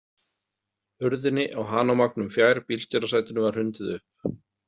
Hurðinni á Hanomagnum fjær bílstjórasætinu var hrundið upp.